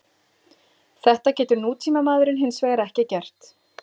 Þetta getur nútímamaðurinn hins vegar ekki gert.